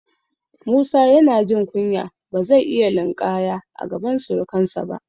Musa yana jin kunya, ba zai iya linƙaya a gaban surukansa ba.